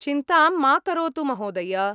चिन्तां मा करोतु, महोदय।